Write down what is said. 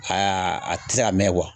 Haa a ti se ka mɛn kuwa